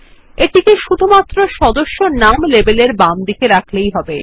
এটিকে শুধুমাত্র সদস্য নাম লেবেল এর বামদিকে রাখলেই হবে